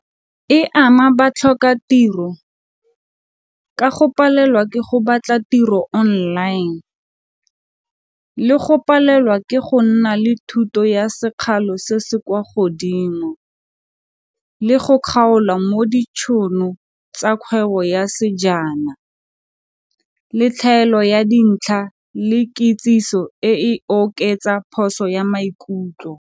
E ama batlhokatiro ka go palelwa ke go batla tiro online le go palelwa ke go nna le thuto ya sekgalo se se kwa godimo le go kgaolwa mo ditšhono tsa kgwebo ya sejana, le tlhaelo ya dintlha le kitsiso e e oketsa phoso ya maikutlo.